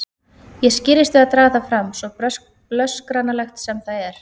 Ég skirrist við að draga það fram, svo blöskranlegt sem það er.